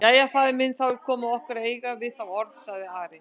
Jæja, faðir minn, þá er komið að okkur að eiga við þá orð, sagði Ari.